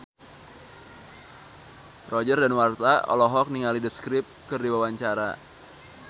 Roger Danuarta olohok ningali The Script keur diwawancara